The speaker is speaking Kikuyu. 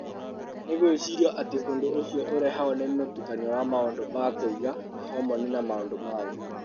Nĩ gwĩcirio atĩ ũndũ ũcio ũrehagwo nĩ mũtukanio wa maũndũ ma kũiga, mahormoni, na maũndũ mangĩ.